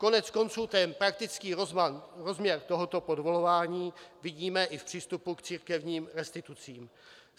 Koneckonců ten praktický rozměr tohoto podvolování vidíme i v přístupu k církevním restitucím.